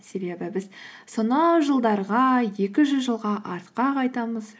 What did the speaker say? себебі біз сонау жылдарға екі жүз жылға артқа қайтамыз